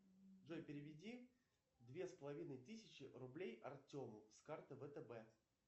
джой переведи две с половиной тысячи рублей артему с карты втб